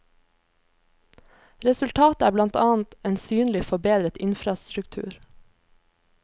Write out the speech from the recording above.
Resultatet er blant annet en synlig forbedret infrastruktur.